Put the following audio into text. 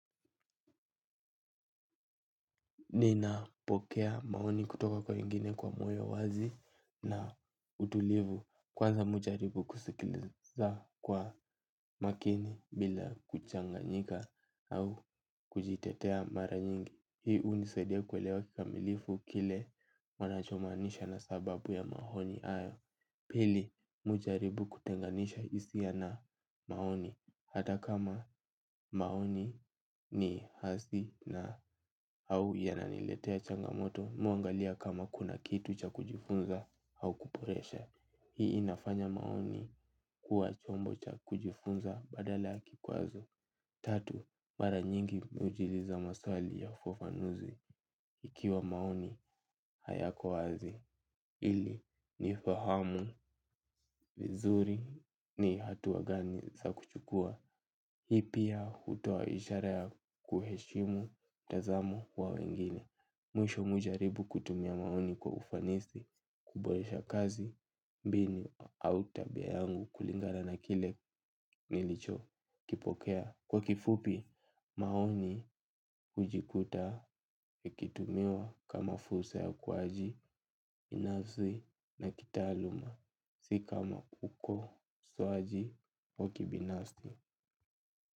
Ninapokea maoni kutoka kwa wengine kwa moyo wazi na utulivu kwanza mi hujaribu kusikiliza kwa makini bila kuchanganyika au kujitetea mara nyingi. Hii unisaidia kuelewa kikamilifu kile wanachomanisha na sababu ya maoni hayo. Pili, mi hujaribu kutenganisha hisia na maoni, hata kama maoni ni hasi na au yananiletea changamoto mi huangalia kama kuna kitu cha kujifunza au kuboresha. Hii inafanya maoni kuwa chombo cha kujifunza badala kikwazo. Tatu, mara nyingi mi hujiuza maswali ya ufafanuzi ikiwa maoni hayako wazi. Ili nifahamu vizuri ni hatua gani za kuchukua. Hii pia hutoa ishara ya kuheshimu mtazamo wa wengine. Mwisho mi hujaribu kutumia maoni kwa ufanisi. Kuboresha kazi mbinu au tabia yangu kulingana na kile nilichokipokea. Kwa kifupi maoni hujikuta ikitumiwa kama fursa ya ukuaji binafsi na kitaaluma si kama ukosoaji, wa kibinafsi.